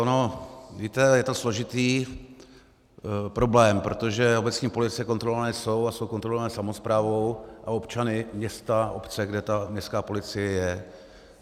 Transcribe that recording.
Ono víte, je to složitý problém, protože obecní policie kontrolované jsou, a jsou kontrolované samosprávou a občany města, obce, kde ta městská policie je.